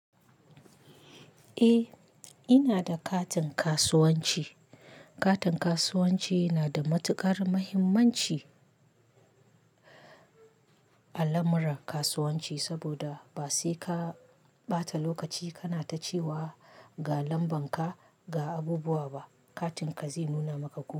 Eh, ina da katin kasuwanci. Katin kasuwanci yana da matukar muhimmanci a lamuran kasuwanci, saboda ba sai ka ɓata lokaci kana ta cewa ga lamban ka, ga abubuwa ba. Katin ka zai nuna maka ko.